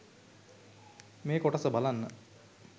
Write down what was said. මේ කොටස බලන්න